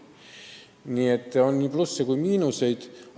Nii et siin on nii plusse kui miinuseid.